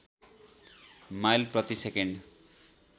mile प्रतिसकेन्ड